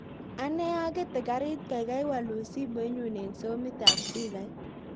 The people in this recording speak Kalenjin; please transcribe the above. Ane agete karit gaigai walun simoinyun en somit ab spikait